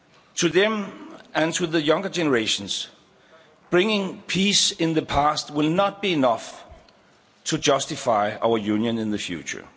To them and to younger generations, bringing peace in the past will not be enough to justify our Union in the future.